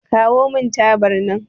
Kawo mun tabar nan